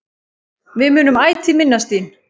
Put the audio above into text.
Við munum ætíð minnast þín.